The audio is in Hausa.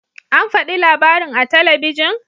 An fadi labarin a talabijin?